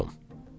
soruşdum.